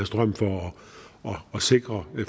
strøm for at sikre